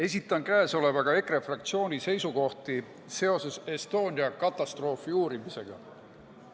Esitan käesolevaga EKRE fraktsiooni seisukohti seoses Estonia katastroofi uurimisega.